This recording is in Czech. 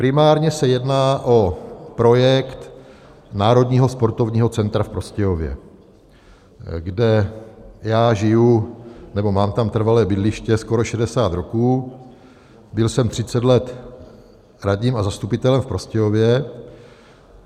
Primárně se jedná o projekt Národního sportovního centra v Prostějově, kde já žiju, nebo mám tam trvalé bydliště skoro 60 roků, byl jsem 30 let radním a zastupitelem v Prostějově.